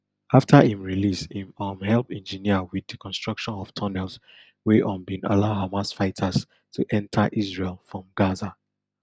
afta im release im um help engineer wit di construction of tunnels wey um bin allow hamas fighters to enta israel from gaza